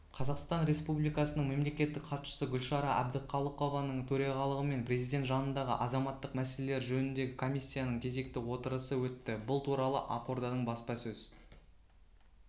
қазақстан республикасының мемлекеттік хатшысы гүлшара әбдіқалықованың төрағалығымен президент жанындағы азаматтық мәселелері жөніндегі комиссияның кезекті отырысы өтті бұл туралы ақорданың баспасөз